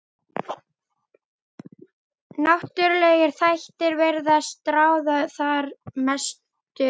Náttúrulegir þættir virðast ráða þar mestu um.